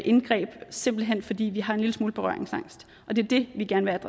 indgreb simpelt hen fordi vi har en lille smule berøringsangst og det er det vi gerne